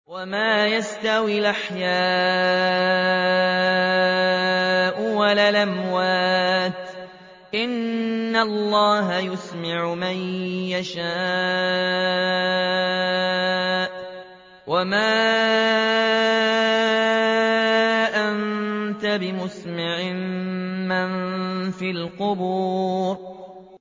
وَمَا يَسْتَوِي الْأَحْيَاءُ وَلَا الْأَمْوَاتُ ۚ إِنَّ اللَّهَ يُسْمِعُ مَن يَشَاءُ ۖ وَمَا أَنتَ بِمُسْمِعٍ مَّن فِي الْقُبُورِ